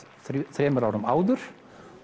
þremur árum áður